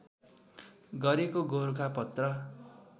गरेको गोरखापत्र